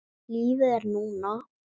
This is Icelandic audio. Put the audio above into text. Lífið er núna!